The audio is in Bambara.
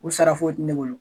U sara foyi tɛ ne bolo.